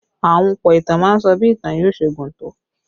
Ahunpọ̀ ìtàn má ń sọ bí ìtàn yóò ṣe gùn tó